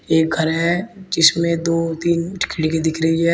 एक घर है जिसमें दो तीन खिड़की दिख रही है।